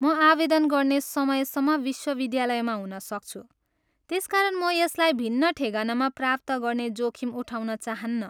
म आवेदन गर्ने समयसम्म विश्वविद्यालयमा हुन सक्छु त्यसकारण म यसलाई भिन्न ठेगानामा प्राप्त गर्ने जोखिम उठाउन चाहन्नँ।